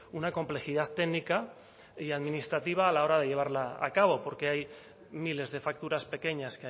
una complejidad técnica y administrativa a la hora de llevarla a cabo porque hay miles de facturas pequeñas